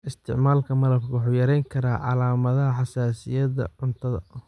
Isticmaalka malabku wuxuu yarayn karaa calaamadaha xasaasiyadda cuntada.